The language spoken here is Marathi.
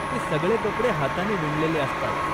ते सगळे कपडे हाताने विणलेले असतात.